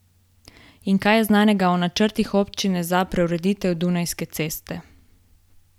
In kaj je znanega o načrtih občine za preureditev Dunajske ceste?